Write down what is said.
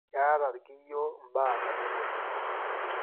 keeta ilkiyo imbaa katitin uni